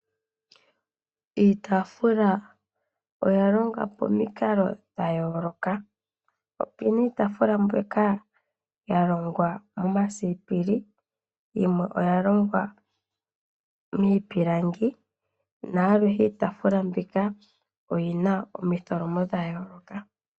Iitaafula oya longwa pamikalo dha yooloka. Opu na iitaafula mbyoka ya longwa momasipili, yimwe oya longwa miipilangi, na aluhe iitaafula mbika oyi na omitholomo dha yooloka.